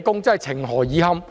真是情何以堪。